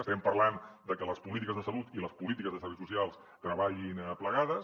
estem parlant de que les polítiques de salut i les polítiques de serveis socials treballin plegades